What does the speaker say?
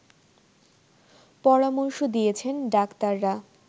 পরামর্শ দিয়েছেন ডাক্তাররা